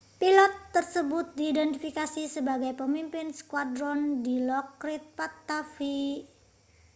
pilot tersebut diidentifikasi sebagai pemimpin skuadron dilokrit pattavee